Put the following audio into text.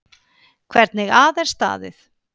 Hvernig að er staðið.